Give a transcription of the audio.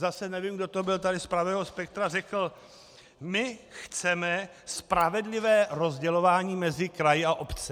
Zase nevím, kdo to byl tady z pravého spektra, řekl: my chceme spravedlivé rozdělování mezi kraje a obce.